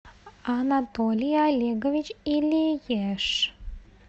анатолий олегович илиеш